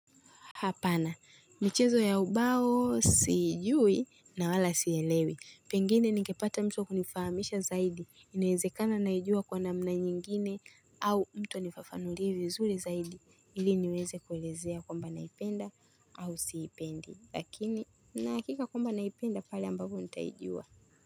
Hapana, michezo ya ubao siijui na wala sielewi. Pengine ningepata mtu wa kunifahamisha zaidi. Inaezekena naijua kwa namna nyingine au mtu anifafanulie vizuri zaidi. Ili niweze kuwelezea kwamba naipenda au siipendi. Lakini, nahakika kwamba naipenda pale ambapo nitaijua.